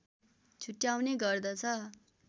छुट्याउने गर्दछ